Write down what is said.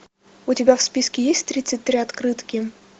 у тебя в списке есть тридцать три открытки